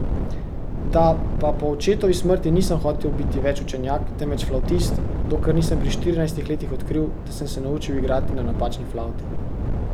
Da pa po očetovi smrti nisem hotel biti več učenjak, temveč flavtist, dokler nisem pri štirinajstih letih odkril, da sem se naučil igrati na napačni flavti.